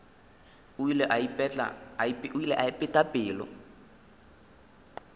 o ile a ipeta pelo